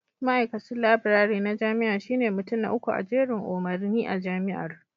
Ma'aikacin Laburare na jami'a shine mutum na uku a jerin umarni a Jami'ar